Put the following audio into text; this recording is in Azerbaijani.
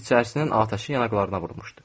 İçərisinin atəşi yanaqlarına vurmuşdu.